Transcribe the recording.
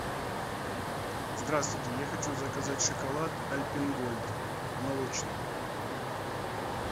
здравствуйте я хочу заказать шоколад альпен гольд молочный